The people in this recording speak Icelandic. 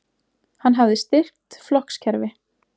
Hann hafði styrkt flokkskerfi